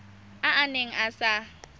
a a neng a sa